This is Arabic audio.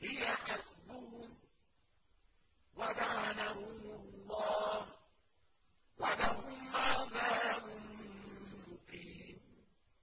هِيَ حَسْبُهُمْ ۚ وَلَعَنَهُمُ اللَّهُ ۖ وَلَهُمْ عَذَابٌ مُّقِيمٌ